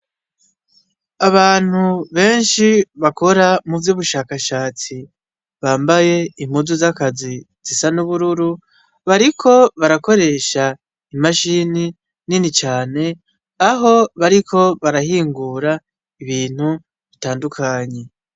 Abantu benshi bakora muvy’ubushakashatsi bambaye impuzu z’akazi zisa n’ubururu, bariko barakoresha imashini nini cane aho bariko barahingura ibintu bitandukanye.